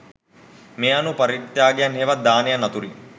මේ අනුව පරිත්‍යාගයන් හෙවත් දානයන් අතුරින්